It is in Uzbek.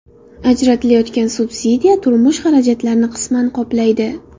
Ajratilayotgan subsidiya turmush xarajatlarini qisman qoplaydi.